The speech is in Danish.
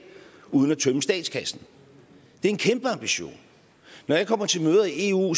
uden at tømme statskassen det er en kæmpe ambition når jeg kommer til møder i eu